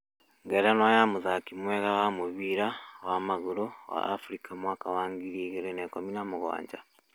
Ngerenwa ya mũthakĩ mwega wa mũbĩra wa magũrũ wa Afrika mwaka wa 2017